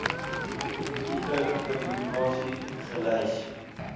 tipe publikasie gelys